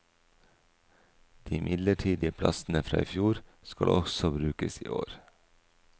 De midlertidige plassene fra i fjor skal også brukes i år.